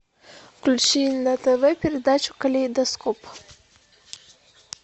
включи на тв передачу калейдоскоп